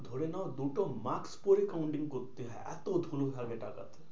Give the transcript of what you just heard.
ধরে নাও দুটো mask পরে counting করতে হয়। এত ধুলো থাকে টাকাতে।